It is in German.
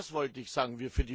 Das wollte ich sagen.